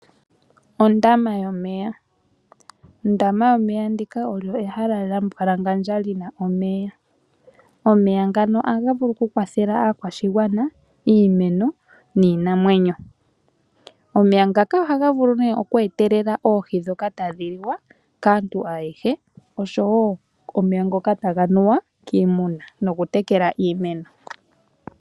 Ondama yomeya olyo ehala lyambwalangandja li na omeya. Omeya ngano ohaga vulu okukwathela aakwashigwana, iimeno niinamwenyo. Omeya ngaka ohaga vulu ne oku etelela oohi dhoka tadhi liwa kaantu ayehe nosho woo omeya ngoka taga nuwa kiimuna nosho woo okutekela iimeno.